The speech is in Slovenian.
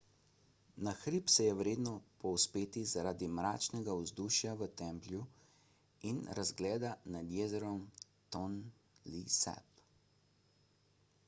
na hrib se je vredno povzpeti zaradi mračnega vzdušja v templju in razgleda nad jezerom tonle sap